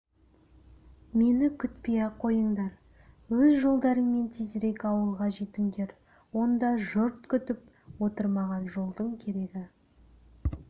мені күтпей-ақ қойыңдар өз жолдарыңмен тезірек ауылға жетіңдер онда жұрт күтіп отыр маған жолдың керегі